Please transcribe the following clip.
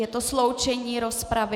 Je to sloučení rozpravy.